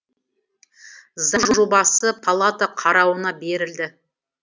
заң жобасы палата қарауына берілді